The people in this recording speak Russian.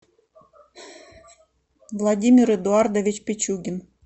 владимир эдуардович пичугин